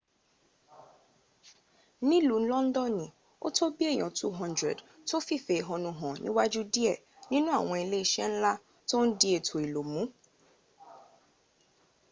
nìlú londoni o tó bìí èyàn 200 tó fìfè éhónú hàn níwájú dìé nínú àwọn ilé isé nla tó n di ètò ìlò mu